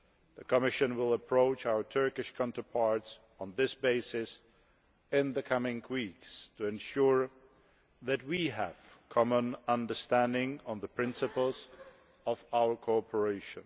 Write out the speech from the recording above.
The Commission will approach our Turkish counterparts on this basis in the coming weeks to ensure that we have a common understanding on the principles of our cooperation.